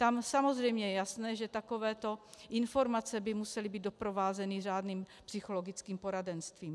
Tam samozřejmě je jasné, že takové informace by musely být doprovázeny řádným psychologickým poradenstvím.